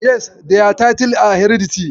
Yes, their titles are hereditary.